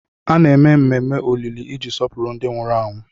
A na-eme ememe olili iji sọpụrụ ndị nwụrụ anwụ.